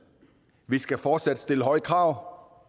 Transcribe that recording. vi skal fortsat stille høje krav